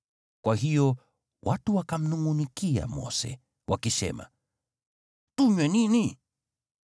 Kwa hiyo watu wakamnungʼunikia Mose, wakisema, “Tunywe nini?”